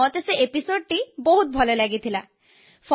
ମୋତେ ସେ ଅଧ୍ୟାୟଟି ବହୁତ ଭଲ ଲାଗିଲା